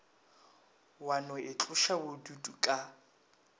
wa no itloša bodutu ka